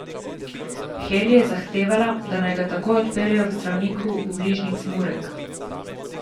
Heli je zahtevala, da ga naj takoj odpeljejo k zdravniku v bližnji Cmurek.